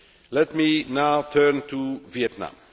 Let me now turn to Vietnam.